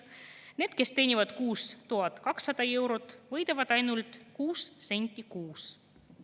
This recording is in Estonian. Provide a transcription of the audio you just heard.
Need, kes teenivad kuus 1200 eurot, võidavad ainult 6 senti kuus.